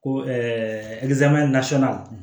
Ko